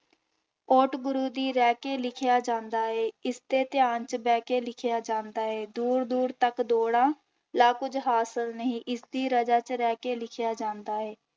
ਓਟ ਗੁਰੂ ਦੀ ਲੈ ਕੇ ਲਿਖਿਆ ਜਾਂਦਾ ਹੈ ਇਸਦੇ ਧਿਆਨ ਚ ਬਹਿ ਕੇ ਲਿਖਿਆ ਜਾਂਦਾ ਹੈ, ਦੂਰ ਦੂਰ ਤੱਕ ਦੌੜਾਂ ਲਾ ਕੁੱਝ ਹਾਸਲ ਨਹੀਂ, ਇਸਦੀ ਰਜਾ ਚ ਰਹਿ ਕੇ ਲਿਖਿਆ ਜਾਂਦਾ ਹੈ।